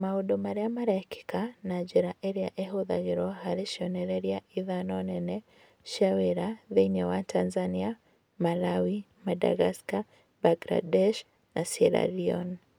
Maũndũ marĩa marekĩka na njĩra iria ihũthagĩrũo harĩ cionereria ithano nene cia wĩra thĩinĩ wa Tanzania, Malawi, Madagascar, Bangladesh, na Sierra Leone.